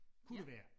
Kunne det være